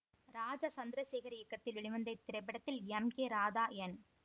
ராஜா சந்திரசேகர் இயக்கத்தில் வெளிவந்த இத்திரைப்படத்தில் எம் கே ராதா என்